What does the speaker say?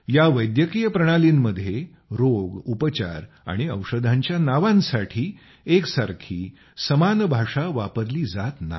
या वैद्यकीय प्रणालींमध्ये रोग उपचार आणि औषधांच्या नावांसाठी समान भाषा वापरली जात नाही